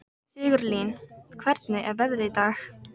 Sigurlín, hvernig er veðrið í dag?